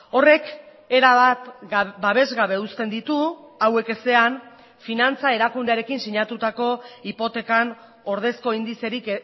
horrek erabat babesgabe uzten ditu hauek ezean finantza erakundearekin sinatutako hipotekan ordezko indizerik